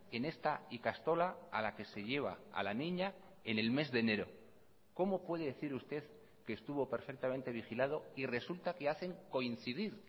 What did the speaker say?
en esta ikastola a la que se lleva a la niña en el mes de enero cómo puede decir usted que estuvo perfectamente vigilado y resulta que hacen coincidir